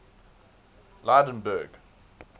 lydenburg